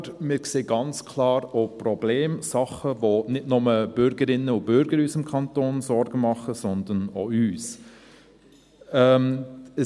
Aber wir sehen ganz klar auch Probleme: Dinge, die nicht nur den Bürgerinnen und Bürgern in unserem Kanton Sorgen machen, sondern auch uns.